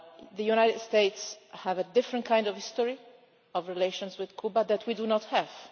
The United States has a different kind of history of relations with Cuba that we do not have.